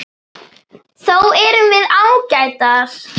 Þó erum við ágætar.